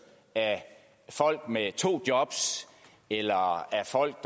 af folk med to jobs eller af folk